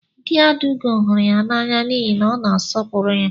Dị Adaugo hụrụ ya n'anya n'ihi na ọ na-asọpụrụ ya.